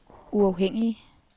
uafhængige